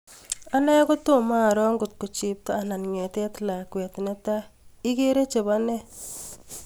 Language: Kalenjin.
Ane kotoma aro ngokto chepto anan ng'etet lakwet, netae igeere chebo ne?